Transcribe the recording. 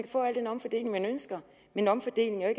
få al den omfordeling man ønsker men omfordeling er